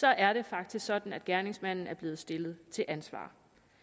er det faktisk sådan at gerningsmanden er blevet stillet til ansvar